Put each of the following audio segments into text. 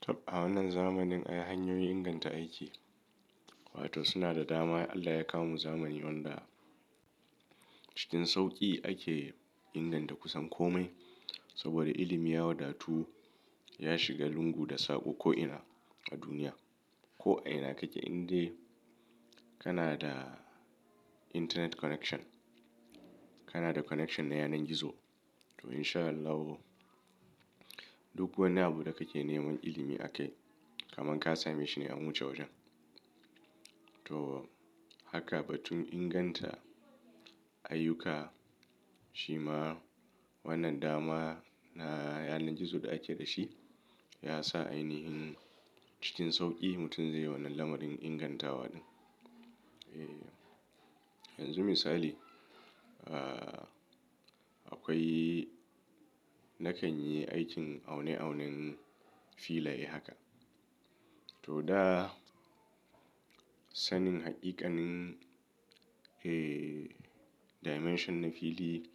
Tab a wannan zamanin ai hanyoyin inganta aiki. Wato suna da dama. Allah ya kawo mu zamanin wanda cikin sauƙi ake inganta kusan kome. Saboda ilimi ya wadatu, ya shiga lungu da saƙo ko'ina a duniya. Ko a'ina kake indai kana da internet connection, kana da connection na yanar gizo. To in sha Allah kuwa duk wani abu da kake neman ilimi akai, kaman ka same shi ne an wuce wajen. To haka ba tun inganta ayyuka shima wannan dama na yanar gizo da ake da shi ya sa ainihin cikin sauƙi mutum zaiyi wannan lamarin ingantawa ɗin. Eeh, yanzu misali, aa akwai na kan yi aikin aune aunen filaye haka. To da sanin haƙiƙanin eeh dimension na fili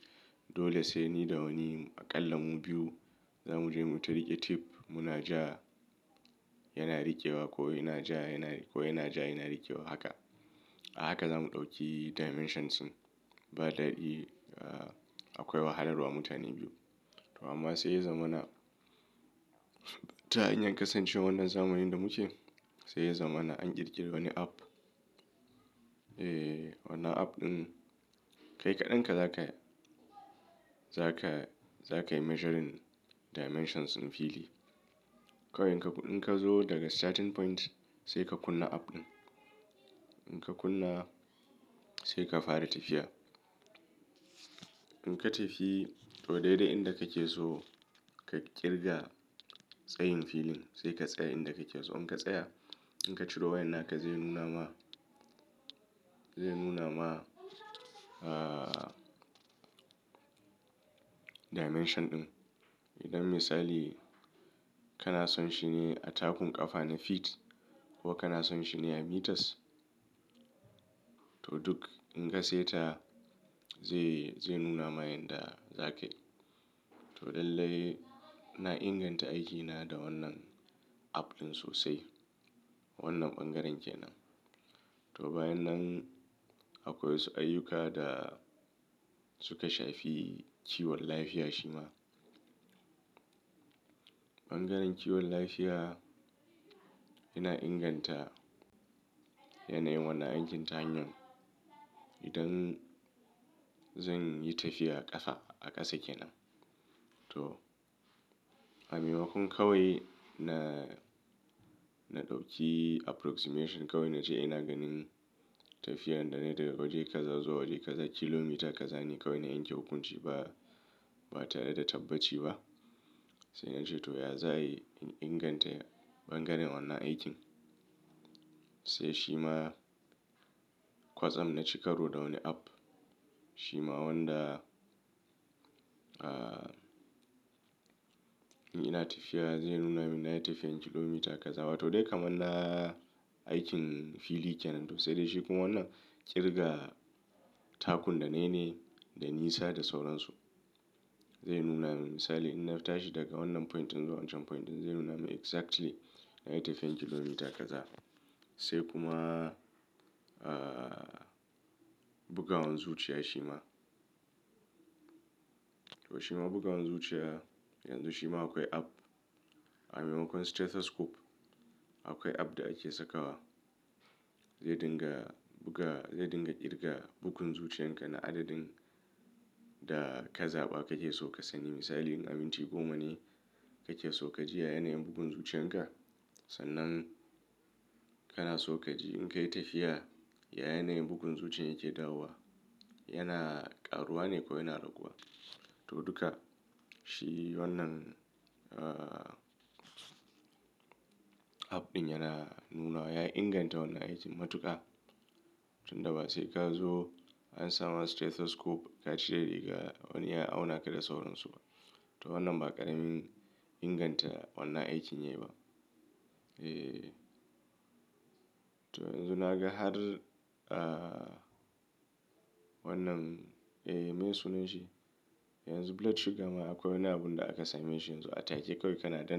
dole sai ni da wani aƙalla mu biyu za mu je mu tariƙe tape. Muna ja yana riƙewa ko ina ja yana ko yana ja yana riƙewa haka. A haka za mu ɗauki dimensions ɗin ba daɗi akwai wahalarwa mutane biyu. To amma sai ya zama na ta iya kasancewa wannan zamanin da muke sai ya zama ana an ƙirƙiri wani app. Eeh wannan app ɗin kai kaɗan ka zaka, zaka, zakayi measuring dimensions ɗin fili. Kawai in ka zo daga starting point sai ka kunna app ɗin. In ka kunna sai ka fara tafiya. In ka tafi to daidai inda kake so ka ƙirga tsayin filin sai ka tsaya inda kake so. In ka tsaya in ka ciro wayan haka zai nuna ma, zai nuna ma aa dimension ɗin. Idan misali kana son shi ne a takun ƙafa na feet ko kana son shi ne a meters. To duk in ka saita zai, zai nuna ma yanda zaka yi. To lallai ina inganta aikina da wannan app ɗin sosai. Wannan ɓangaren kenan. To bayan nan akwai wasu ayyuka da suka shafi kiwon lafiya shima. Ɓangaren kiwon lafiya yana inganta yanayin wannan aikin ta hanyar idan zan yi tafiya ƙafa a ƙasa kenan. To a maimakon kawai na, na ɗauki approximation kawai na ce ina ganin tafiyar da na yi daga waje ka za zuwa waje ka za kilomita ka za ne kawai na aikin hukunci ba, ba tare da tabbaci ba. Sai na ce to ya za ayi inganta ɓangaren wannan aikin. Sai shima kwatsam na ci karo da wani app shima wanda aa in yi na tafiya zai nuna min na yi tafiyan kilomita ka za. Wato dai kaman a aikin fili kenan to sai dai shi kuma wannan ƙirga takun da na yi ne da nisa da sauran su. Zai nuna min misali in na fita shi daga wannan point in zo wancan point zai nuna min exactly na yi tafiyan kilomita ka za. Sai kuma aa bugawan zuciya shima. To shima buga wanzuciya yanzu shima akwai app a maimakon stethoscope akwai app da ake sakawa. Zai dinga buga, zai dinga ƙirga bugun zuciyan ka na adadin da ka zaɓa kake so ka sani. Misali in abinci goma ne kake so ka ji a yanayin bugun zuciyan ka sannan kana so ka ji in ka yi tafiya a yanayin bugun zuciya yake dawowa. Yana ƙaruwa ne ko yana raguwa. To duka shi wannan aa app ɗin yana nuna wa ya inganta wannan aikin matuƙa. Tun daba sai ka zo an samar stethoscope ka cire riga wani ya auna ka da sauran su. To wannan ma ƙaramin inganta wannan aikin yayi ba. Eeh, to yanzu naga har aa wannan eeh meye sunan shi? Yanzu blood sugar ma akwai wani abun da aka same shi yanzu a take kawai kana danna.